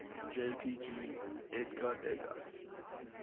jpg edgar degas